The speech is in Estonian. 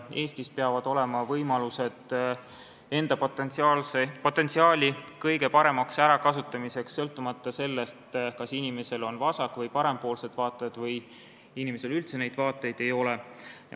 Eestis peavad olema võimalused enda potentsiaali kõige paremaks ärakasutamiseks, sõltumata sellest, kas inimesel on vasak- või parempoolsed vaated või tal üldse vaateid ei ole.